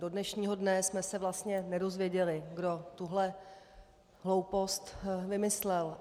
Do dnešního dne jsme se vlastně nedozvěděli, kdo tuhle hloupost vymyslel.